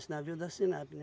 Esse navio da Sinapi, né?